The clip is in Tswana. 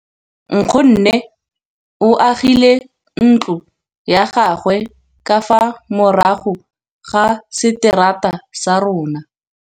Nkgonne o agile ntlo ya gagwe ka fa morago ga seterata sa rona.